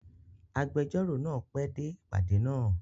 Agbẹjọ́rò náà pẹ́ dé ìpàdé náà.